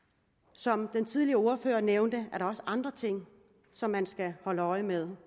som den tidligere ordfører nævnte er der også andre ting som man skal holde øje med